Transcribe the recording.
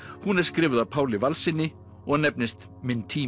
hún er skrifuð af Páli Valssyni og nefnist minn tími